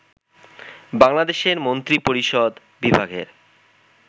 বাংলাদেশের মন্ত্রিপরিষদ বিভাগের